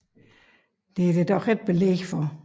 Der er dog ikke belæg for det